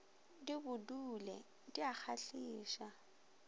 di bodule di a kgahliša